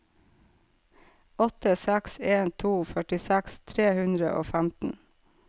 åtte seks en to førtiseks tre hundre og femten